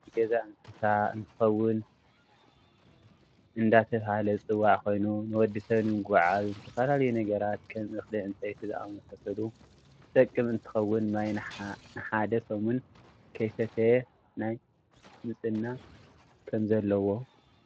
እዚ ግመሊ ናይ ገዛ እንስሳ እንትከውን እደተበሃለ ዝፅዋዕ ኮይኑ ንወዲሰብ ንመጓዓዓዝ ንዝተፈላለዩ ነጋራት ከም እክሊ ፣ዕንጨይቲ ዝኣመሳሰሉ ዝጠቅም እንትከውን ማይ ንሓደ ሰሙን ከይ ሰተየ ናይ ምፅና ከምዘለዎ